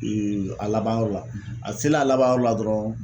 a labanyɔrɔ la a selen a labanyɔrɔ la dɔrɔn